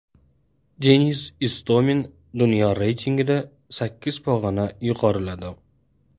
Denis Istomin dunyo reytingida sakkiz pog‘ona yuqoriladi.